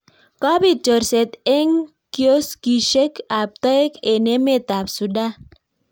Kopit chorset eng kioskischek ab toek eng emet ab Sudan.